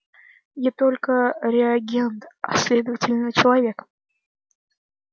я только реагент а следовательно человек